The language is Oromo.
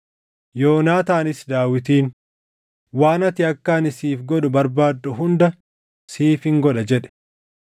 Yoonaataanis Daawitiin, “Waan ati akka ani siif godhu barbaaddu hunda siifin godha” jedhe.